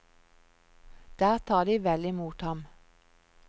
Der tar de vel i mot ham.